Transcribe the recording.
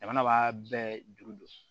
Jamana b'a bɛɛ juru don